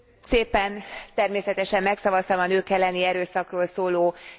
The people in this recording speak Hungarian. Természetesen megszavaztam a nők elleni erőszakról szóló jelentést.